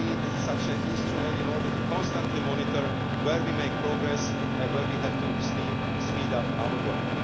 We need such an instrument in order to constantly monitor where we make progress and where we have to speed up our work.